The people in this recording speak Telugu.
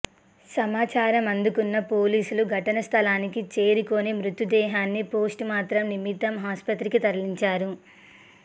సమాచారం అందుకున్న పోలీసులు ఘటనాస్థలికి చేరుకుని మృతదేహాన్ని పోస్ట్మార్టం నిమిత్తం ఆసుపత్రికి తరలించారు